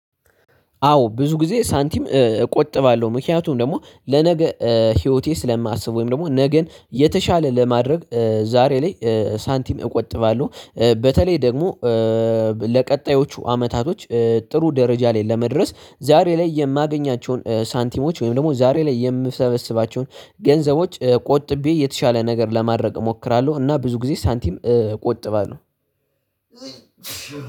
አዎ ብዙ ጊዜ ሳንቲም እቆጥባለሁ ምክንያቱም ደግሞ ለነገ ህይወቴ ስለማስብ ወይም ደግሞ ነገን የተሻለ ለማድረግ ዛሬ ላይ ሳንቲም እቆጥባለሁ። በተለይ ደግሞ ለቀጣዮቹ አመታቶች ጥሩ ደረጃ ላይ ለመድረስ ዛሬ ላይ የማገኛቸውን ሳንቲሞች ወይም ደግሞ ዛሬ ላይ የምሰበስባቸውን ገንዘቦች ቆጥቤ የተሻለ ነገር ለማድረግ እሞክራለሁ። እና ብዙ ጊዜ ሳንቲም እቆጥባለሁ።